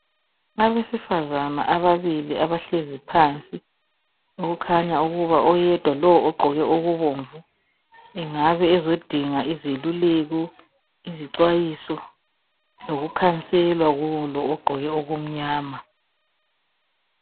Abesifazana ababili abahleziyo phansi okukhanya ukuba oyedwa lo ogqoke okubomvu engabe ezodinga izeluleko, izixwayiso lokukhanselwa kulo ogqoke okumnyama.